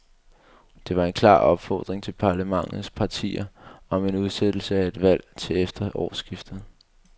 Det var en klar opfordring til parlamentets partier om en udsættelse af et valg til efter årsskiftet.